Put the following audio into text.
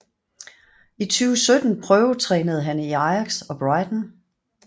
I 2017 prøvetrænede han i Ajax og Brighton